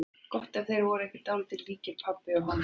Gott ef þeir voru ekki bara dálítið líkir, pabbi og hann.